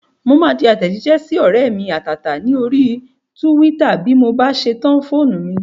Mo máa tẹ àtẹ̀jísẹ́ sí ọ̀rẹ́ mi àtàtà ní orí túwítà bí mo bá ṣe tan fóònù mi